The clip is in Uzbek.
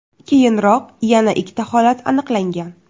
Keyinroq yana ikkita holat aniqlangan.